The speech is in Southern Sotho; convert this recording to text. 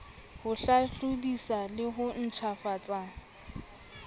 ho hlahlobisa le ho ntjhafatsa